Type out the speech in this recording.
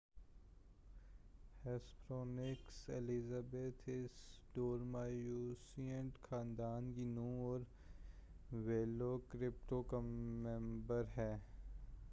Hesperonychus elizabethae اس dromaeosaurid خاندان کی نُوع اور ویلوکراپٹور کا ممبر ہے